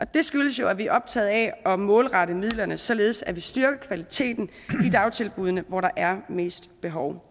det skyldes jo at vi er optaget af at målrette midlerne således at vi styrker kvaliteten i dagtilbuddene hvor der er mest behov